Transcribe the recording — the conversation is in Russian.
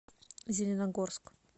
зеленогорск